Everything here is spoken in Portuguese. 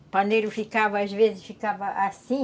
O paneiro ficava, às vezes, ficava assim,